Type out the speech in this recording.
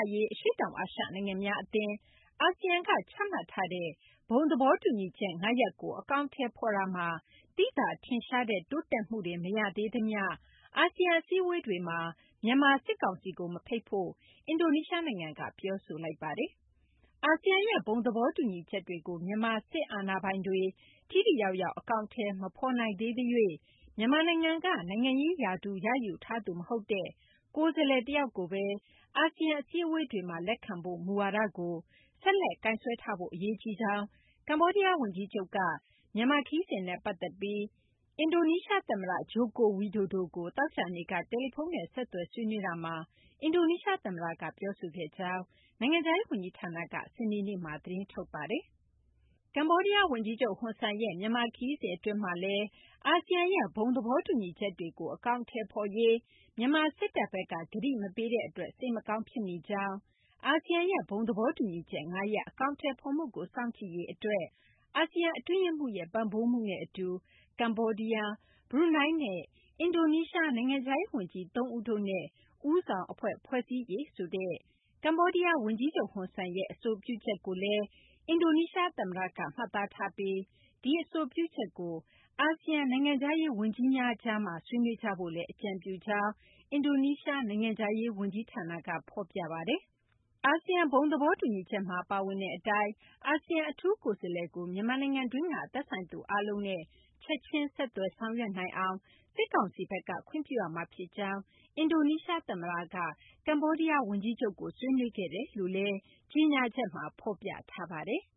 ရေး အရှေ့တောင်အာရှ နိုင်ငံများအသင်း (အာဆီယံ) က ချမှတ်ထားတဲ့ ဘုံသဘောတူညီချက် ၅ ရပ်ကို အကောင်အထည်ဖော်ရာမှာ သိသာထင်ရှားတဲ့ တိုးတက်မှုတွေ မရသေးသမျှ အာဆီယံ အစည်းအဝေးတွေမှာ မြန်မာစစ်ကောင်စီကို မဖိတ်ဖို့ အင်ဒိုနီးရှားနိုင်ငံက ပြောဆိုလိုက်ပါတယ်။ အာဆီယံရဲ့ ဘုံသဘောတူညီချက်တွေကို မြန်မာစစ်အာဏာပိုင်တွေ ထိထိရောက်ရောက် အကောင်အထည် မဖော်နိုင်သေးသရွေ့ မြန်မာနိုင်ငံက နိုင်ငံရေးရာထူး ရယူထားသူ မဟုတ်တဲ့ ကိုယ်စားလှယ်တယောက်ကိုသာ အာဆီယံ အစည်းအဝေးတွေမှာ လက်ခံဖို့ မူဝါဒကို ဆက်လက်ကိုင်စွဲထားဖို့ အရေးကြီးကြောင်း ကမ္ဘောဒီးယားဝန်ကြီးချုပ်က မြန်မာခရီးစဉ်နဲ့ ပတ်သက်ပြီး အင်ဒိုနီးရှားသမ္မတ ဂျိုကိုဝီဒိုဒိုကို သောကြာနေ့က တယ်လီဖုန်းနဲ့ ဆက်သွယ် ဆွေးနွေးရာမှာ အင်ဒိုနီးရှားသမ္မတက ပြောခဲ့ကြောင်း နိုင်ငံခြားရေးဝန်ကြီးဌာနက စနေနေ့မှာ သတင်းထုတ်ပြန်ခဲ့တာပါ။ ကမ္ဘောဒီးယားဝန်ကြီးချုပ် ဟွန်ဆန်ရဲ့ မြန်မာခရီးစဉ် အတွင်းမှာလည်း အာဆီယံရဲ့ ဘုံသဘောတူညီချက်တွေကို အကောင်အထည်ဖော်ရေး မြန်မာစစ်တပ်ဘက်က ကတိမပေးတဲ့အတွက် စိတ်မကောင်း ဖြစ်မိကြောင်း၊ အာဆီယံရဲ့ ဘုံသဘောတူညီချက် ၅ ရပ် အကောင်အထည်ဖော်မှုကို စောင့်ကြည့်ရေးအတွက် အာဆီယံ အတွင်းရေးမှူးရဲ့ ပံ့ပိုးမှုနဲ့အတူ ကမ္ဘောဒီးယား၊ ဘရူနိုင်းနဲ့ အင်ဒိုနီးရှား နိုင်ငံခြားရေးဝန်ကြီး ၃ ဦးတို့နဲ့ ဦးဆောင်အဖွဲ့ ဖွဲ့စည်းရေးဆိုတဲ့ ကမ္ဘောဒီးယားဝန်ကြီးချုပ် ဟွန်ဆန်ရဲ့ အဆိုပြုချက်ကိုလည်း အင်ဒိုနီးရှားသမ္မတက မှတ်သားထားပြီး ဒီအဆိုပြုချက်ကို အာဆီယံ နိုင်ငံခြားရေးဝန်ကြီးများကြားမှာ ဆွေးနွေးကြဖို့လည်း အကြံပြုကြောင်း အင်ဒိုနီးရှား နိုင်ငံခြားရေးဝန်ကြီးဌာနက ဖော်ပြပါတယ်။ အာဆီယံ ဘုံသဘောတူညီချက်မှာ ပါဝင်တဲ့အတိုင်း အာဆီယံ အထူးကိုယ်စားလှယ်ကို မြန်မာနိုင်ငံတွင်းက သက်ဆိုင်သူအားလုံးနဲ့ ချက်ချင်း ဆက်သွယ်ဆောင်ရွက်နိုင်အောင် စစ်ကောင်စီဘက်က ခွင့်ပြုရမှာဖြစ်ကြောင်း အင်ဒိုနီးရှားသမ္မတက ကမ္ဘောဒီးယားဝန်ကြီးချုပ်နဲ့ ဆွေးနွေးခဲ့တယ်လို့လည်း ကြေညာချက်မှာ ဖော်ပြထားပါတယ်။